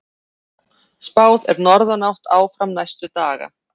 Spáð er norðanátt áfram næstu daga